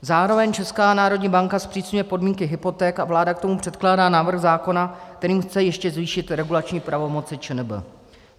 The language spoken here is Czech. Zároveň Česká národní banka zpřísňuje podmínky hypoték a vláda k tomu předkládá návrh zákona, kterým chce ještě zvýšit regulační pravomoc ČNB.